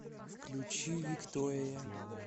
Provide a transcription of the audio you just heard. включи виктория